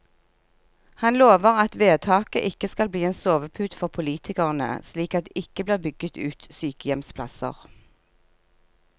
Han lover at vedtaket ikke skal bli en sovepute for politikerne, slik at det ikke blir bygget ut sykehjemsplasser.